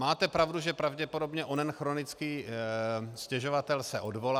Máte pravdu, že pravděpodobně onen chronický stěžovatel se odvolá.